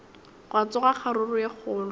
gwa tsoga kgaruru ye kgolo